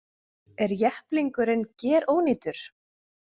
Er jepplingurinn gerónýtur